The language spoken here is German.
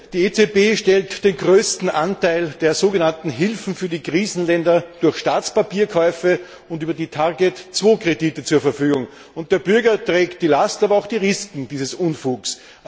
Die EZB stellt den größten Anteil der sogenannten Hilfen für die Krisenländer durch Staatspapierkäufe und über die TARGET 2 Kredite zur Verfügung. Und der Bürger trägt die Last und die Risiken dieses Unfugs.